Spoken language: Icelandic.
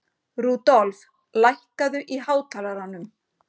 Rudolf, lækkaðu í hátalaranum.